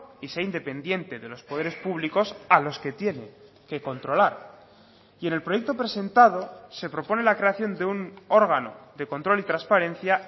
y sea independiente de los poderes públicos a los que tiene que controlar y en el proyecto presentado se propone la creación de un órgano de control y transparencia